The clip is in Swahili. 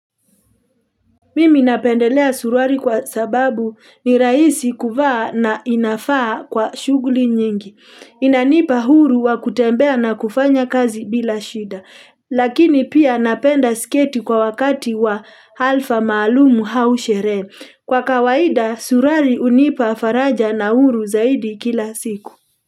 Mimi napendelea surwali kwa sababu ni rahisi kuvaa na inafaa kwa shughuli nyingi. Inanipa huru wa kutembea na kufanya kazi bila shida. Lakini pia napenda sketi kwa wakati wa halfa maalumu au sherehe. Kwa kawaida surwali hunipa faraja na huru zaidi kila siku.